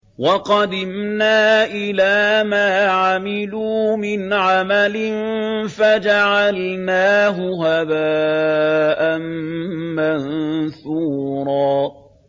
وَقَدِمْنَا إِلَىٰ مَا عَمِلُوا مِنْ عَمَلٍ فَجَعَلْنَاهُ هَبَاءً مَّنثُورًا